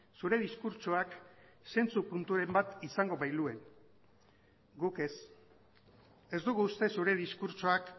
zure diskurtsoak zentzu punturen bat izango bailuen guk ez ez dugu uste zure diskurtsoak